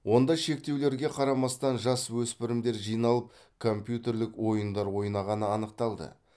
онда шектеулерге қарамастан жасөспрмідер жиналып компьютерлік ойындар ойнағаны анықталды